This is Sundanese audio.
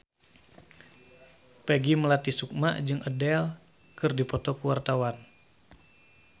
Peggy Melati Sukma jeung Adele keur dipoto ku wartawan